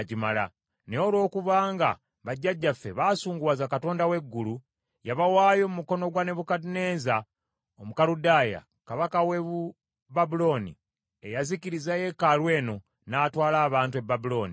Naye olw’okuba nga bajjajjaffe baasunguwaza Katonda w’eggulu, yabawaayo mu mukono gwa Nebukadduneeza Omukaludaaya, kabaka w’e Babulooni, eyazikiriza yeekaalu eno n’atwala abantu e Babulooni.